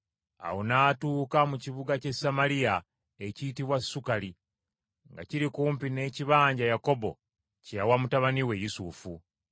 Awo n’atuuka mu kibuga ky’e Samaliya ekiyitibwa Sukali, nga kiri kumpi n’ekibanja Yakobo kye yawa mutabani we Yusufu.